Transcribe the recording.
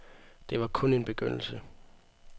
Det var kun en begyndelse.